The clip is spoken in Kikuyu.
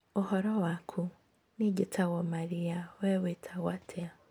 ũhoro waku, niĩ njĩtagwo Maria, we wĩtagwo atĩa?